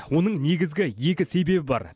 оның негізгі екі себебі бар